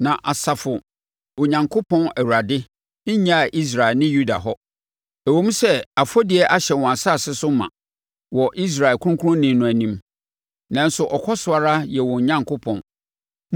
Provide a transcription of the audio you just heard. Na Asafo Onyankopɔn Awurade, nnyaa Israel ne Yuda hɔ. Ɛwom sɛ afɔdie ahyɛ wɔn asase no so ma wɔ Israel Ɔkronkronni no anim, nanso ɔkɔ so ara yɛ wɔn Onyankopɔn.